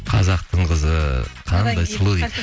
қазақтың қызы қандай сұлу